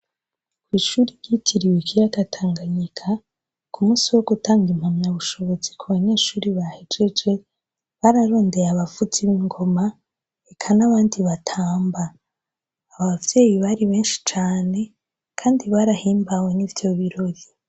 Kw' ishuri ryitiriwe ikiyaga Tanganyika ku munsi wo gutanga impamya bushobozi ku banyeshure bahejeje, bararondeye abavuzi b'ingoma eka n'abandi batamba. Abavyeyi bari benshi cane kandi barahimbawe n'ivyo birori.